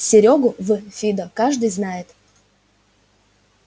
серёгу в фидо каждый знает